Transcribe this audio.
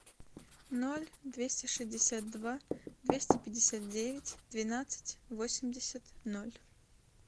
ноль двести шестьдесят два двести пятьдесят девять двенадцать восемьдесят ноль